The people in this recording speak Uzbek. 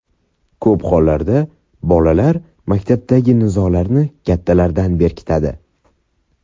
Ko‘p hollarda bolalar maktabdagi nizolarni kattalardan berkitadi.